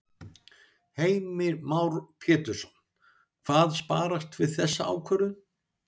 Heimir Már Pétursson: Hvað sparast við þessa ákvörðun?